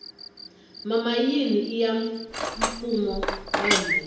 mimayini iya mfumo wa hina